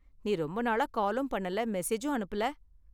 நீ ரொம்ப நாளா காலும் பண்ணல, மெசேஜும் அனுப்பல?